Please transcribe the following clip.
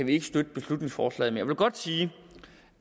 ikke støtte beslutningsforslaget men jeg vil godt sige